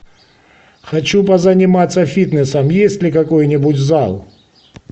хочу позаниматься фитнесом есть ли какой нибудь зал